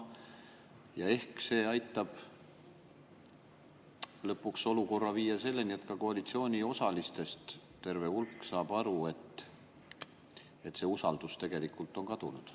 Ja ehk see aitab lõpuks olukorra viia selleni, et ka koalitsiooniosalistest terve hulk saab aru, et usaldus on tegelikult kadunud.